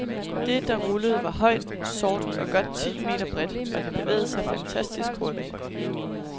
Det, der rullede, var højt, sort og godt ti meter bredt, og det bevægede sig fantastisk hurtigt.